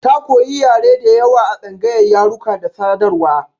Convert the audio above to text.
Ta koyi yare da yawa a tsangayar yaruka da sadarwa.